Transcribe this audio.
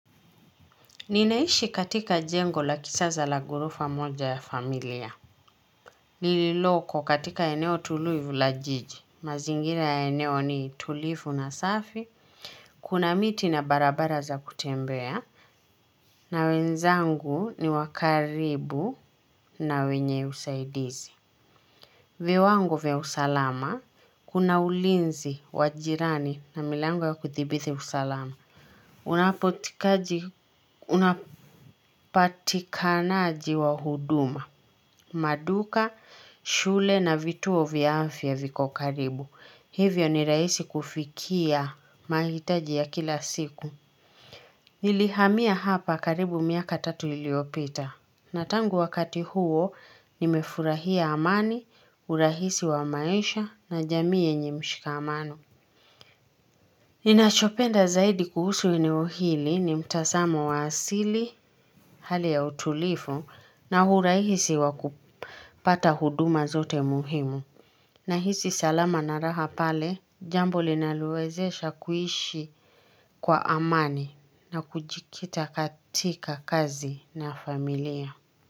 Ninaishi katika jengo la kisasa la ghorofa moja ya familia. Lililoko katika eneo tulivu la jiji. Mazingira ya eneo ni tulivu na safi. Kuna miti na barabara za kutembea. Na wenzangu ni wa karibu na wenye usaidizi. Viwango vya usalama kuna ulinzi wa jirani na milango ya kudhibiti usalama. Upatikanaji wa huduma, maduka, shule na vituo vya afya viko karibu. Hivyo ni rahisi kufikia mahitaji ya kila siku. Nilihamia hapa karibu miaka tatu iliyopita, na tangu wakati huo nimefurahia amani, urahisi wa maisha na jamii yenye mshikamano. Ninachopenda zaidi kuhusu eneo hili ni mtazamo wa asili, hali ya utulivu na urahisi wa kupata huduma zote muhimu. Nahisi salama na raha pale, jambo linalowezesha kuishi kwa amani na kujikita katika kazi na familia.